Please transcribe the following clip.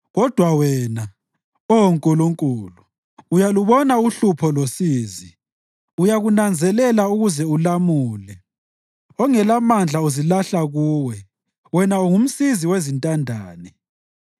Kodwa wena, Oh Nkulunkulu, uyalubona uhlupho losizi; uyakunanzelela ukuze ulamule. Ongelamandla uzilahla kuwe; wena ungumsizi wezintandane.